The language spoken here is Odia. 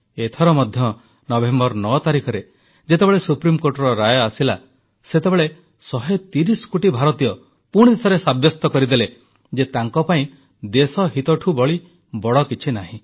ଏଥର ମଧ୍ୟ ନଭେମ୍ବର 9 ତାରିଖରେ ଯେତେବେଳେ ସୁପ୍ରିମକୋର୍ଟର ରାୟ ଆସିଲା ସେତେବେଳେ 130 କୋଟି ଭାରତୀୟ ପୁଣିଥରେ ସାବ୍ୟସ୍ତ କରିଦେଲେ ଯେ ତାଙ୍କପାଇଁ ଦେଶହିତଠୁ ବଳି ବଡ଼ କିଛିନାହିଁ